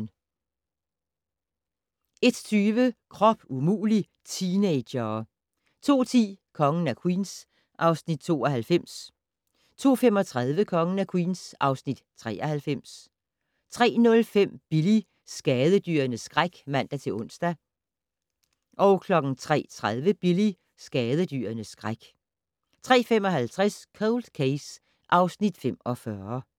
00:50: Grænsepatruljen 01:20: Krop umulig - teenagere 02:10: Kongen af Queens (Afs. 92) 02:35: Kongen af Queens (Afs. 93) 03:05: Billy - skadedyrenes skræk (man-ons) 03:30: Billy - skadedyrenes skræk 03:55: Cold Case (Afs. 45)